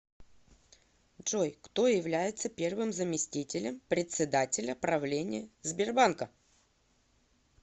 джой кто является первым заместителем председателя правления сбербанка